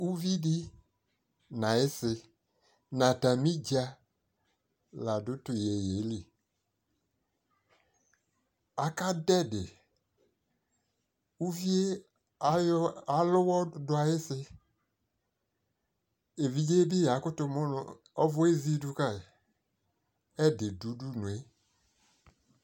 uvi di no ayi si no atami dza la do to yeye li, aka do ɛdi uvie alo uwɔ do ayi si, evidze bi yakoto mu no ɔvɔ ezi do kae, ɛdi do udunue